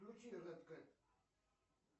включи рэд кэт